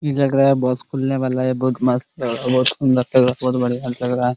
इ लग रहा है बस खुलने वाला है इ बहुत मस्त अ बहुत सुन्दर लग रहा बहुत बढियां लग रहा है।